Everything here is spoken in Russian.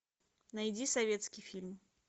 найди советский фильм